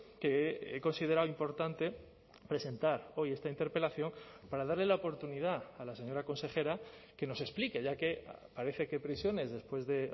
que he considerado importante presentar hoy esta interpelación para darle la oportunidad a la señora consejera que nos explique ya que parece que prisiones después de